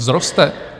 Vzroste?